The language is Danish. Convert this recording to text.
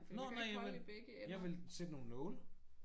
Nå nej jamen jeg ville sætte nogle nåle